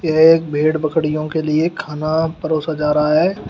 एक भेड़ बकरियों के लिए खाना परोसा जा रहा है।